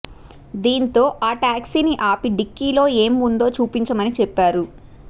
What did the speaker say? దీంతో ఆ ట్యాక్సీని అపి డిక్కీలో ఏం ఉందో చూపించమని చెప్పారు